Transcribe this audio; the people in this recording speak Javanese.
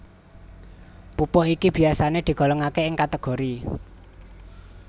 Pupuh iki biyasané digolongaké ing kategori